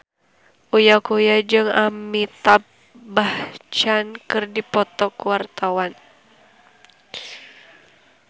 Uya Kuya jeung Amitabh Bachchan keur dipoto ku wartawan